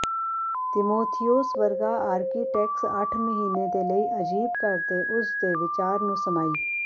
ਤਿਮੋਥਿਉਸ ਵਰਗਾ ਆਰਕੀਟੈਕਟਸ ਅੱਠ ਮਹੀਨੇ ਦੇ ਲਈ ਅਜੀਬ ਘਰ ਦੇ ਉਸ ਦੇ ਵਿਚਾਰ ਨੂੰ ਸਮਾਈ